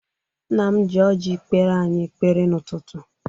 Nna m ji ọjị kpere anyị ekpere n'ụtụtụ.